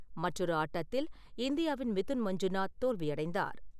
மற்றொரு ஆட்டத்தில் இந்தியாவின் மிதுன் மஞ்சுநாத் தோல்வியடைந்தார்.